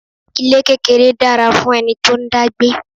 Ilé kékeré dára fún ẹni tó ń dá gbé.